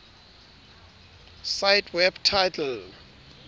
cite web title